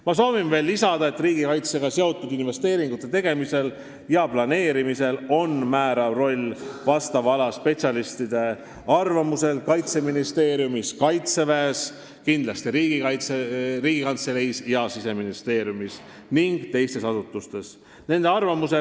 Ma soovin veel lisada, et riigikaitsega seotud investeeringute tegemisel ja planeerimisel on määrav roll Kaitseministeeriumi ja Kaitseväe ning kindlasti ka Riigikantselei, Siseministeeriumi ja teiste asutuste vastava ala spetsialistide arvamusel.